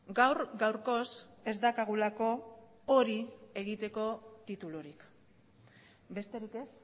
gaur gaurkoz ez daukagulako hori egiteko titulurik besterik ez